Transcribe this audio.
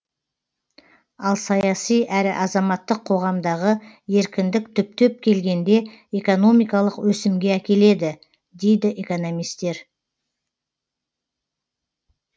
ал саяси әрі азаматтық қоғамдағы еркіндік түптеп келгенде экономикалық өсімге әкеледі дейді экономистер